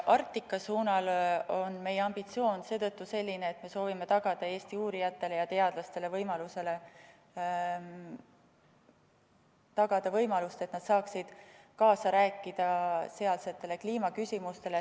Arktika suunal on meie ambitsioon seetõttu selline, et me soovime tagada Eesti uurijatele ja teadlastele võimaluse, et nad saaksid kaasa rääkida sealsetes kliimaküsimustes.